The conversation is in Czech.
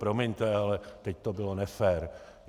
Promiňte, ale teď to bylo nefér.